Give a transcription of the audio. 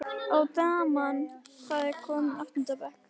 Og daman, hvað- komin í áttunda bekk?